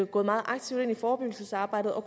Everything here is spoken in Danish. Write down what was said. gået meget aktivt ind i forebyggelsesarbejdet og